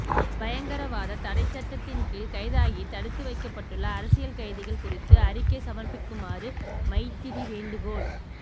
பயங்கரவாதத் தடைச் சட்டத்தின் கீழ் கைதாகி தடுத்து வைக்கப்பட்டுள்ள அரசியல் கைதிகள் குறித்து அறிக்கை சமர்ப்பிக்குமாறு மைத்திரி வேண்டுகோள்